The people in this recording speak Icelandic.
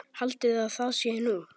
Haldiði að það sé nú!